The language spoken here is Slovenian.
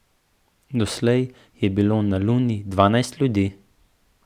Doslej je bilo na Luni dvanajst ljudi.